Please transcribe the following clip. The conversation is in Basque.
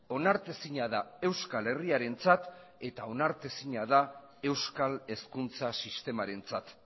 onartezina da euskal herriarentzat eta onartezina da euskal hezkuntza sistemarentzat